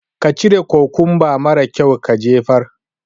ka cire kukumba mara kyaun ka jefar.